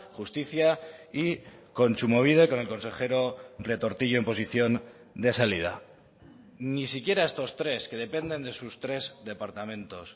justicia y kontsumobide con el consejero retortillo en posición de salida ni siquiera estos tres que dependen de sus tres departamentos